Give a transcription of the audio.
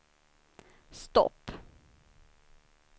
stopp